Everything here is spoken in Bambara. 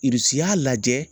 Irisi y'a lajɛ